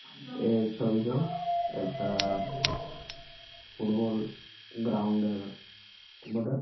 এ ছবিট একটা-আ football ground -এর বটে ।